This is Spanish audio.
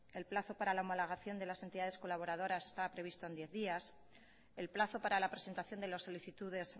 el plazo para la homologación de las entidades colaboradoras estaba previsto en diez días el plazo para la presentación de las solicitudes